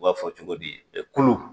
U b'a fɔ cogo di ɛ kulu